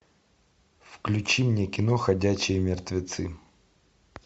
включи мне кино ходячие мертвецы